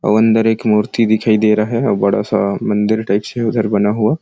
और अन्दर एक मूर्ति दिखाई दे रहा है और बड़ा सा मंदिर टाइप से उधर बना हुआ --